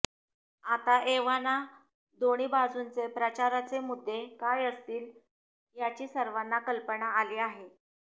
आता एव्हाना दोन्ही बाजूंचे प्रचाराचे मुद्दे काय असतील याची सर्वांना कल्पना आली आहे